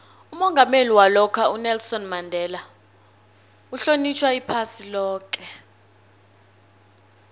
umongameli walokha ubaba unelson mandela uhlonitjhwa iphasi loke